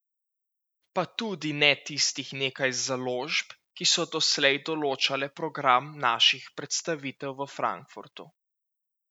Pa tudi ne tistih nekaj založb, ki so doslej določale program naših predstavitev v Frankfurtu.